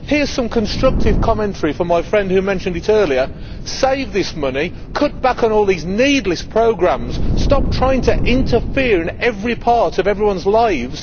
Hear some constructive commentary from my friend who mentioned it earlier save this money, cut back on all these needless programmes, and stop trying to interfere in every part of everyone's lives.